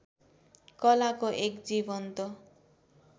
कलाको एक जीवन्त